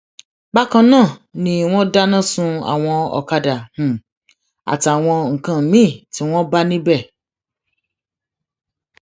bákan náà ni wọn dáná sun àwọn ọkadà um àtàwọn nǹkan míín tí wọn bá níbẹ